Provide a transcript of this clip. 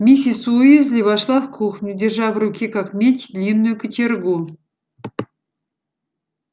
миссис уизли вошла в кухню держа в руке как меч длинную кочергу